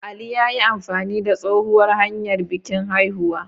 Ali ya yi amfani da tsohuwar hanyar bikin haihuwa.